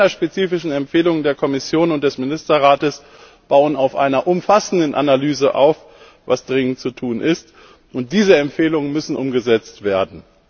Die länderspezifischen Empfehlungen der Kommission und des Ministerrates bauen auf einer umfassenden Analyse auf, was dringend zu tun ist, und diese Empfehlungen müssen umgesetzt werden.